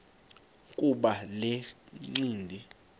kuba le ncindi